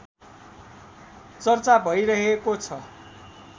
चर्चा भइरहेको छ